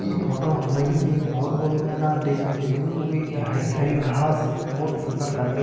इ फोटु हमुए ऐक भौत बडू मैदान दिखेणु च वीकी हरी हरी घास भौत सुन्दर लगणी च।